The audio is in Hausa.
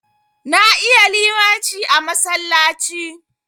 Na iya limaci a masallaci.